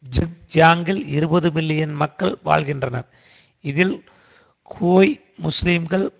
ஜிங்ஜியாங்கில் இருபது மில்லியன் மக்கள் வாழ்கின்றனர் இதில் ஹுய் முஸ்லிம்கள்